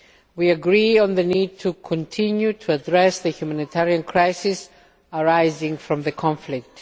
We agree on the need to continue to address the humanitarian crisis arising from the conflict.